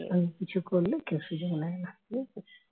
স্বামী কিছু করলে কেউ সুযোগ নেয় না বুঝেছিস